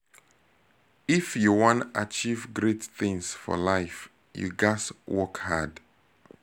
if you wan achieve great things for life you ghas work hard